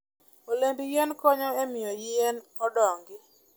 Olemb yien konyo e miyo yien odongi.